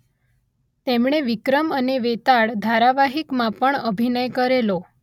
તેમણે વિક્રમ અને વેતાળ ધારાવાહિકમાં પણ અભિનય કરેલો